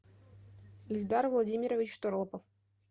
ильдар владимирович торопов